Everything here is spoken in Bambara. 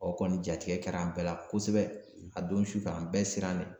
O kɔni jatigɛ kɛra an bɛɛ la kosɛbɛ a don sufɛ an bɛɛ siran le